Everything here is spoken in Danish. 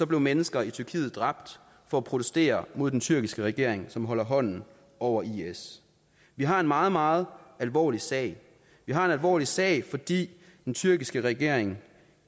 blev mennesker i tyrkiet dræbt for at protestere mod den tyrkiske regering som holder hånden over is vi har en meget meget alvorlig sag vi har en alvorlig sag fordi den tyrkiske regering